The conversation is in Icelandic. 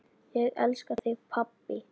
Ég elska þig pabbi.